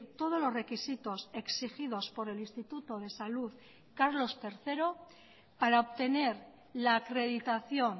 todos los requisitos exigidos por el instituto de salud carlos tercero para obtener la acreditación